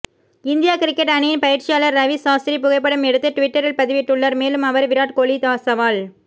India cricket அணியின் பயிற்சியாளர் ரவி சாஸ்திரி புகைப்படம் எடுத்து ட்விட்டரில் பதிவிட்டுள்ளார் மேலும் அவர் விராட் கோஹ்லி சவால்